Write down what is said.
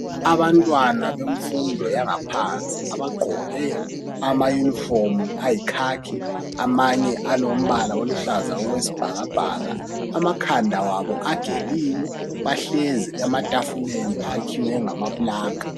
Abantwana bemfundo yangaphansi abagqoke amaunifomu ayikhaki amanye alombala oluhlaza okwesibhakabhaka ,amakhanda abo ageliwe, bahlezi ematafuleni akhiwe ngama planka.